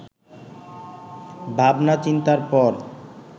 ভাবনা-চিন্তার পর